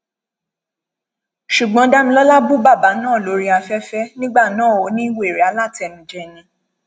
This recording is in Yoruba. ṣùgbọn damilọla bú bàbà náà lórí afẹfẹ nígbà náà ó ní wèrè alátẹnujẹ ni